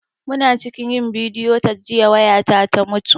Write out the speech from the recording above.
Muna cikin yin bidiyo cat jiya waya ta ta mutu